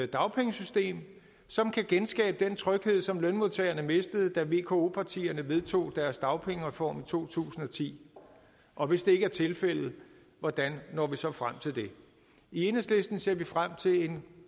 dagpengesystem som kan genskabe den tryghed som lønmodtagerne mistede da vko partierne vedtog deres dagpengereform i 2010 og hvis det ikke er tilfældet hvordan når vi så frem til det i enhedslisten ser vi frem til en